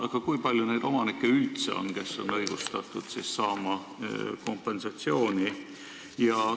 Aga kui palju neid omanikke üldse on, kellel on õigus kompensatsiooni saada?